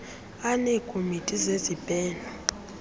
aneekomiti zezib heno